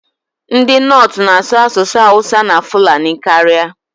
Ndị Nortu na-asụ asụsụ Awusa na Fulani karịa.